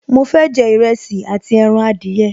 Mo fẹ́ jẹ Ìrẹsì àti ẹran adìyẹ